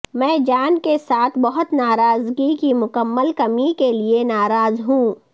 میں جان کے ساتھ بہت ناراضگی کی مکمل کمی کے لئے ناراض ہوں